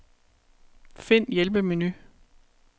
Find hjælpemenu.